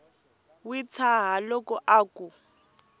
wi tshaha loko a ku